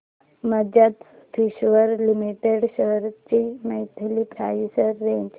Bajaj Finserv limited shares ची monthly price range